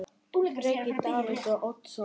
Breki: Davíð Oddsson?